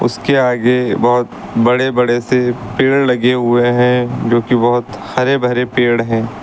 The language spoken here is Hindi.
उसके आगे बहोत बड़े बड़े से पेड़ लगे हुए हैं जो कि बहोत हरे भरे पेड़ हैं।